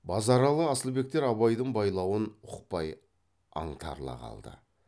базаралы асылбектер абайдың байлауын ұқпай аңтарыла қалды